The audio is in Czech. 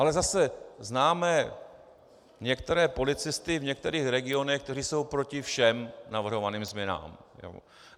Ale zase známe některé policisty v některých regionech, kteří jsou proti všem navrhovaným změnám.